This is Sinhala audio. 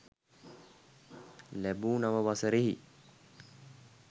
ලැබූ නව වසරෙහි